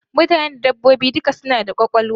Mutane da dabbobi duka suna da kwakwalwa.